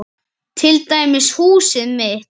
Til dæmis húsið mitt.